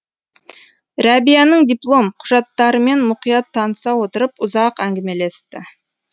рәбияның диплом құжаттарымен мұқият таныса отырып ұзақ әңгімелесті